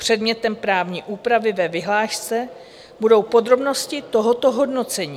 Předmětem právní úpravy ve vyhlášce budou podrobnosti tohoto hodnocení.